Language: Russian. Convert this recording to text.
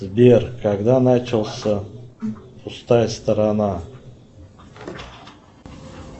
сбер когда начался пустая сторона